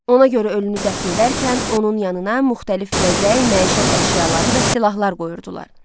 Ona görə ölünü dəfn edərkən onun yanına müxtəlif bəzək, məişət əşyaları və silahlar qoyurdular.